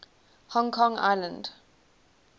hong kong island